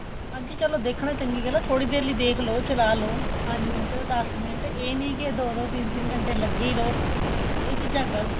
ਹਾਂਜੀ ਦੇਖਣਾ ਚਲੋਂ ਚੰਗੀ ਗੱਲ ਏ ਥੋੜੀ ਦੇਰ ਲਈ ਦੇਖਲੋ ਚਲਾਹ ਲੋ ਪੰਜ ਮਿੰਟ ਦੱਸ ਮਿੰਟ ਏਹ ਨਹੀਂ ਕੇ ਦੋ ਦੋ ਘੰਟੇ ਲੱਗੇ ਹੀ ਰਹੋ ਏਹ ਚੀਜਾਂ ਗ਼ਲਤ ਏ